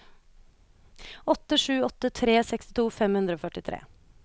åtte sju åtte tre sekstito fem hundre og førtifire